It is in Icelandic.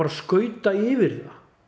skauta yfir